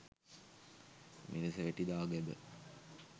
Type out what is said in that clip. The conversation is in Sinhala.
මිරිසවැටි දාගැබ